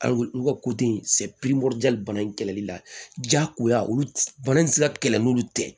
An olu ka bana in kɛlɛli la jagoya olu bana in tɛ se ka kɛlɛ n'olu tɛ